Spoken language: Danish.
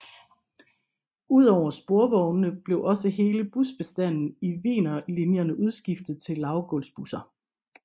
Ud over sporvognene blev også hele busbestanden i Wienerlinjerne udskiftet til lavgulvsbusser